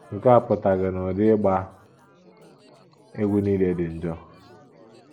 Nke a apụtaghị na ụdị ịgba egwú nile dị njọ.